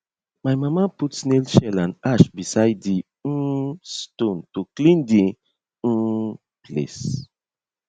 my mama put snail shell and ash beside di um stone to clean di um place